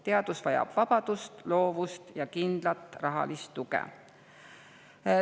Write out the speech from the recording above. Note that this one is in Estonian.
Teadus vajab vabadust, loovust ja kindlat rahalist tuge.